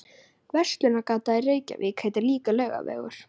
Verslunargatan í Reykjavík heitir líka Laugavegur.